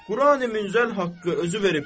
Quran-i Münzəl haqqı özü veribdir.